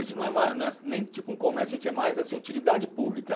A gente não é ma, não é nem tipo um comércio, a gente é mais assim, utilidade pública.